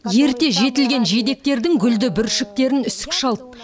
ерте жетілетін жидектердің гүлді бүршіктерін үсік шалды